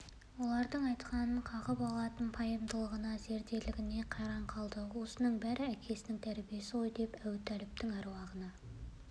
олардың айтқаныңды қағып алатын пайымдылығына зерделілігіне қайран қалды осының бәрі әкесінің тәрбиесі ғой деп әбутәліптің аруағына